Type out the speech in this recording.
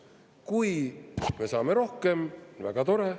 Kui me saame rohkem, väga tore.